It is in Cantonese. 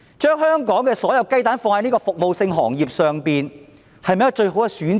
將香港所有雞蛋放在服務性行業上，是否一個最好的選擇？